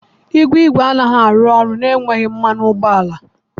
Igwe igwe anaghị arụ ọrụ na-enweghị mmanụ ụgbọala.